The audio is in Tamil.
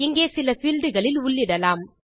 இங்கே சில பீல்ட் களில் உள்ளிடலாம்